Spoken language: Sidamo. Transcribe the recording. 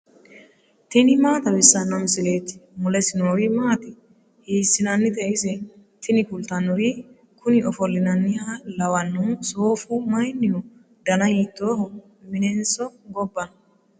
tini maa xawissanno misileeti ? mulese noori maati ? hiissinannite ise ? tini kultannori kuni ofollinanniha lawannohu soofu mayinniho dana hiittooho minenso gobba no